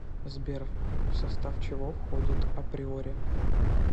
сбер в состав чего входит априори